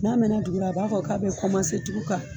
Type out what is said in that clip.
N'a mɛɛnna dugu la a b'a fɔ k'a bɛ tugun ka